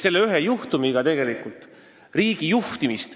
Selle ühe juhtumiga mõjutati riigi juhtimist.